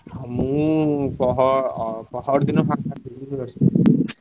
ମୁଁ ପହର~ ଅ~ପହରଦିନ ଫାଙ୍କା ଥିବି ବୁଝିଲ କି।